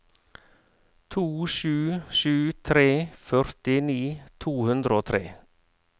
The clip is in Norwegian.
to sju sju tre førtini to hundre og tre